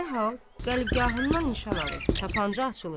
Dərhal qəlbgahından nişan alır, tapança açılır.